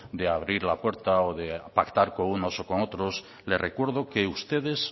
de abrir la puerta o de pactar con unos y con otros le recuerdo que ustedes